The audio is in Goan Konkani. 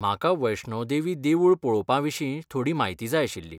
म्हाका वैष्णो देवी देवूळ पळोवपाविशीं थोडी म्हायती जाय आशिल्ली.